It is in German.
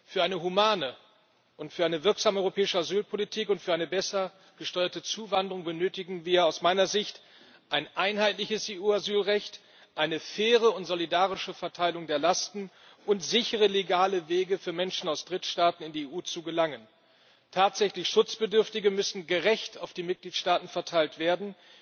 Für eine humane und wirksame europäische Asylpolitik und für eine besser gesteuerte Zuwanderung benötigen wir aus meiner Sicht ein einheitliches EU Asylrecht, eine faire und solidarische Verteilung der Lasten und sichere legale Wege für Menschen aus Drittstaaten, in die EU zu gelangen. Tatsächlich Schutzbedürftige müssen gerecht auf die Mitgliedstaaten verteilt werden.